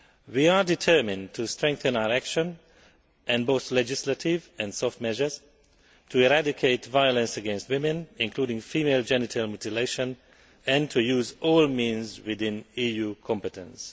We are determined to strengthen our action, with both legislative and soft measures, to eradicate violence against women, including female genital mutilation, and to use all means within the EU's competence.